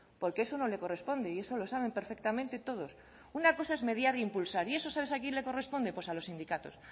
porque eso no le corresponde y eso lo saben perfectamente todos una cosa es mediar e impulsar y eso sabes a quién le corresponde pues a los sindicatos